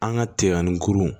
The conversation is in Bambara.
An ka tiɲɛni kurun